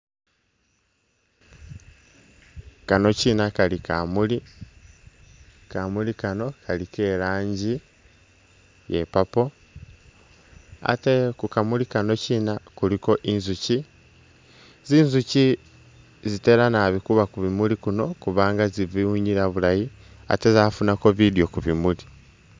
Kano Chiina kamuuli, kamuuli kano kali ke iranji iye purple, ate kukamuuli kano chiina kuliko inzuchi, zinzuchi zitela naabi kuba kubimuuli biino kubanga bitsibiwunyila bulaayi ate tsafunako bidyo kubimuuli.